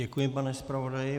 Děkuji, pane zpravodaji.